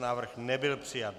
Návrh nebyl přijat.